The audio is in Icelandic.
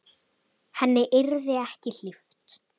Henni yrði ekki hlíft.